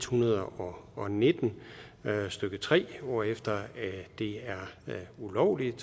hundrede og og nitten stykke tre hvorefter det er ulovligt